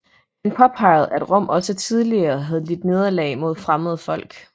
Han påpegede at Rom også tidligere havde lidt nederlag mod fremmede folk